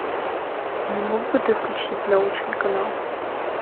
не мог бы ты включить научный канал